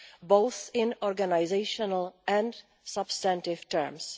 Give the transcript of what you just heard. both in organisational and substantive terms.